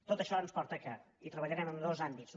tot això ens porta que hi treballarem en dos àmbits